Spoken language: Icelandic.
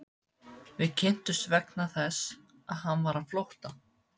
Við kynntumst vegna þess að hann var á flótta.